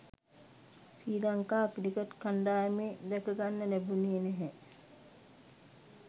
ශ්‍රී Lanka cricket කණ්ඩායමේ දැකගන්න ලැබුණේ නැහැ.